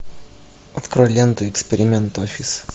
открой ленту эксперимент офис